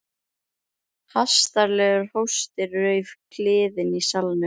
Hastarlegur hósti rauf kliðinn í salnum.